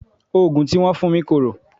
Òògùn tí wọ́n fún mi korò.